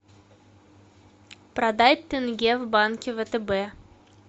продать тенге в банке втб